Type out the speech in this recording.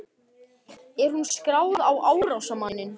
Er hún skráð á árásarmanninn?